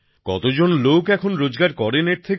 কতজন লোক এখন রোজগার করেন এর থেকে